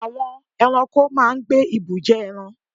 Àwọn eranko máa n gbé ibùjẹ́ eran